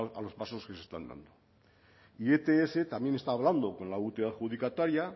a los pasos que se están dando y ets también está hablando con la última adjudicataria